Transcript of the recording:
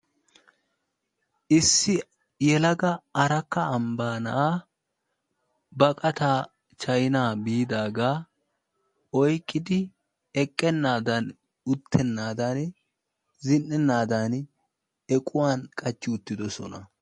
issi yelagaa arakka ambba na'aa baqataa chaynaa biidaaga oyqqidi eqqennaadan uttennaadan, zin''ennaadan equwan qachchi uttidoosona.